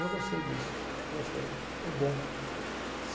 Eu gostei disso, gostei, é bom.